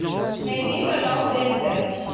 найди канал тнт